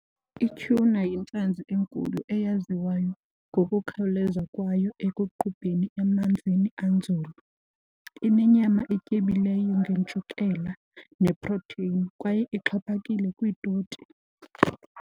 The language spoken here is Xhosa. Ityhuna yintlanzi enkulu eyaziwayo ngokukhawuleza kwayo ekuqubheni emanzini anzulu. Inenyama etyebileyo ngentshukela neprotheyini kwaye ixhaphakile kwiitoti.